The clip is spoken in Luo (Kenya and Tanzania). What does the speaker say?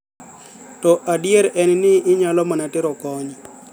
to adier en ni inyalo mana tero kony